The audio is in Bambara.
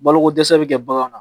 Balokodɛsɛ bɛ kɛ baganw na